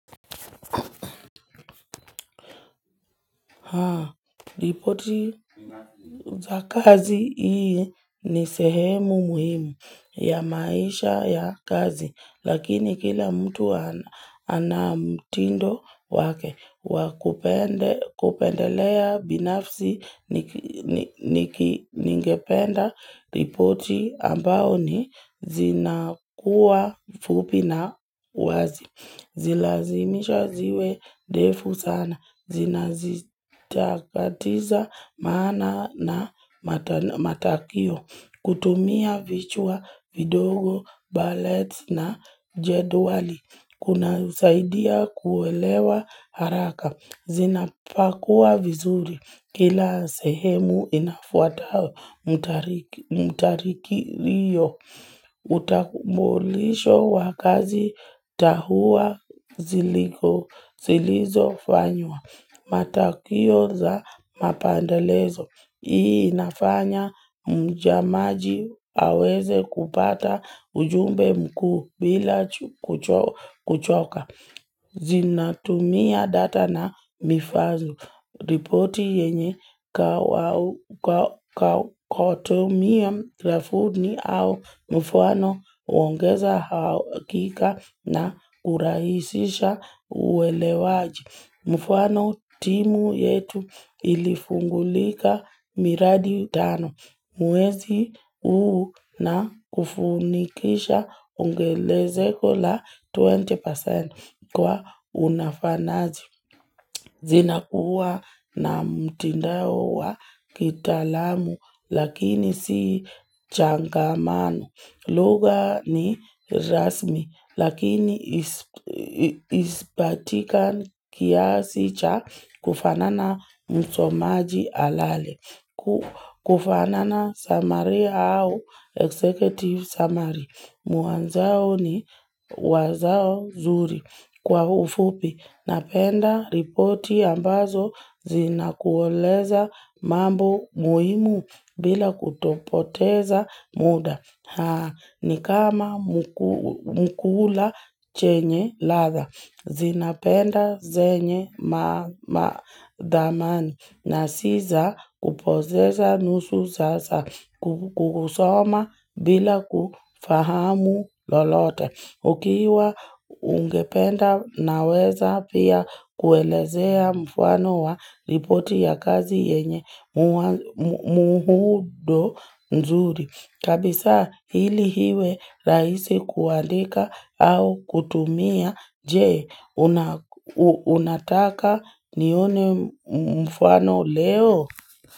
Ripoti za kazi hii ni sehemu muhimu ya maisha ya kazi, lakini kila mtu ana mtindo wake wakupendelea binafsi ningependa ripoti ambao ni zinakuwa fupi na wazi. Zilazimishwe ziwe ndefu sana, zinakatiza maana na matakio, kutumia vichwa vidogo, buleti na jedwali, kunasaidia kuelewa haraka Zinapokuwa vizuri kila sehemu inafuata mtiririko hiyo. Ukamilisho wa kazi na hatua zilizofanywa matokeo za mapandekezo. Hii inafanya mtazamaji aweze kupata ujumbe mkuu bila kuchoka. Zinatumia data na vifaa, ripoti yenye inatumia grafu au mfano huongeza uhakika na hurahisisha uelewaji. Mfano timu yetu ilifungua miradi tano. Mwezi huu na umefanikisha ongezeko la twenty percent kwa ufanisi. Zina kuwa na mtindo wa kitaalamu lakini si changamano. Lugha ni rasmi lakini ispatikane kiasi cha kufanya msomaji alale. Kama muhtasari au executive summary. Mwanzo ni wazo nzuri. Kwa ufupi napenda ripoti ambazo zina kueleza mambo muhimu bila kutopoteza muda. Ni kama chakula chenye ladha, inayopendwa yenye thamani, na si za kupoteza nusu saa, kusoma bila kufahamu lolote. Ukiwa ungependa naweza pia kuelezea mfano wa ripoti ya kazi yenye muundo mzuri. Kabisa ili iwe rahisi kuandika au kutumia je unataka nione mfano leo.